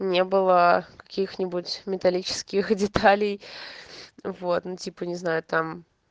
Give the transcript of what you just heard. не было каких-нибудь металлических деталей вот ну типа не знаю там